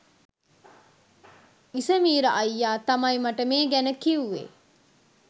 ඉසමීර අයියා තමයි මට මේ ගැන කිවුවේ